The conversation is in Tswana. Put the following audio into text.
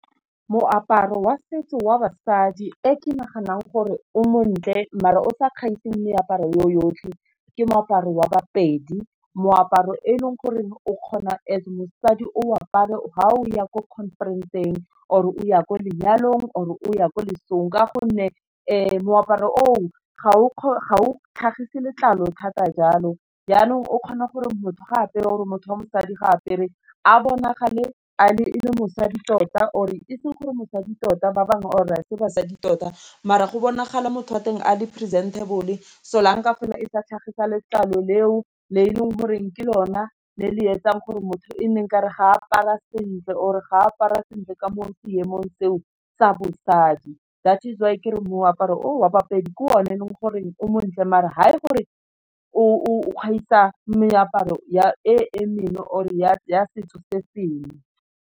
Moaparo wa setso wa basadi e ke naganang gore o montle, mare o sa kgaiseng meaparo yo yotlhe, ke moaparo wa ba-Pedi, moaparo e leng gore o kgona and mosadi o apare fa o ya ko conference-ng, or o ya ko lenyalong, or o ya kwa lesong, ka gonne moaparo o ga o tlhagise letlalo thata, jalo jaanong o kgona gore motho ga a apere or motho wa mosadi ga apere a bonagale e le mosadi tota, or e seng gore mosadi tota ba bangwe or se basadi tota, mara go bonagala motho a teng a le presentable-e so la nka fela e sa tlhagisa letlalo, leo le e leng goreng ke lona le le etsang gore motho e nne nkare ga apara sentle, or ga apara sentle ka mo seemong seo sa bosadi, that is why kere moaparo wa ba-Pedi ke one e leng gore o montle maar ha e gore o gaisa meaparo e mengwe or e ya setho se sengwe.